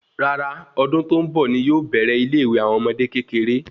Rárá ọdún tó ń bọ̀ ní yóò bèrè ile ìwé àwọn ọmọdé kékeré